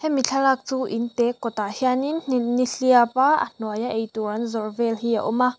hemi thlalak chu in te kawt ah hianin nihliap a a hnuai a eitur an zawrh vel hi a awm a.